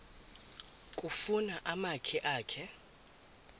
kufuna umakhi akhe